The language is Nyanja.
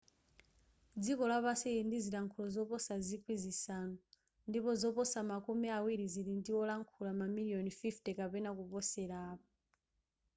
dziko lapansi lili ndi zilankhulo zoposa zikwi zisanu ndipo zoposa makumi awiri zili ndi olankhula mamiliyoni 50 kapena kuposela apo